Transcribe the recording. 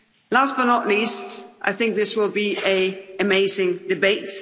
Last, but not least, I think this will be an amazing debate.